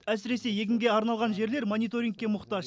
әсіресе егінге арналған жерлер мониторингке мұқтаж